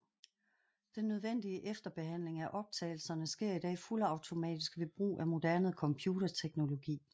Den nødvendige efterbehandling af optagelserne sker i dag fuldautomatisk ved brug af moderne computerteknologi